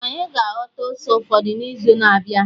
Anyị ga-aghọta ose ụfọdụ n'izu na-abịa